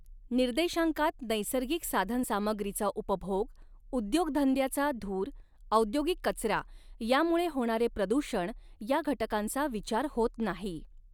निर्देशांकात नैसर्गिक साधन सामग्रीचा उपभोग उद्योगधंद्याचा धूर औद्योगिक कचरा यामुळे होणारे प्रदूषण या घटकांचा विचार होत नाही.